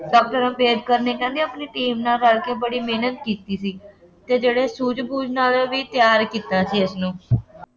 doctor Ambedkar ਨੇ ਕਹਿੰਦੇ ਆਪਣੀ ਟੀਮ ਨਾਲ ਰਲ ਕੇ ਬੜੀ ਮਿਹਨਤ ਕੀਤੀ ਸੀ ਅਤੇ ਜਿਹੜੇ ਸੂਝ-ਬੂਝ ਨਾਲ ਵੀ ਤਿਆਰ ਕੀਤਾ ਸੀ ਇਸਨੂੰ